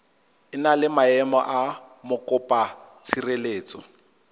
na le maemo a mokopatshireletso